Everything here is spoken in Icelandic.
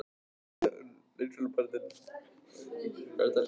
Viðhorf leikskólabarna til leik- og grunnskóla